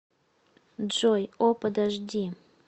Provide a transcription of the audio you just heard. джой о подожди